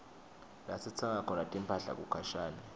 lasitsenga khona timphahla kukhashane